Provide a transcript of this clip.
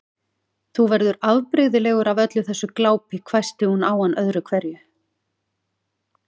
Þú verður afbrigðilegur af öllu þessu glápi hvæsti hún á hann öðru hverju.